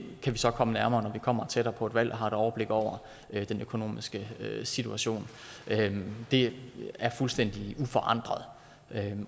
kan vi så komme nærmere når vi kommer tættere på et valg og har et overblik over den økonomiske situation det er fuldstændig uforandret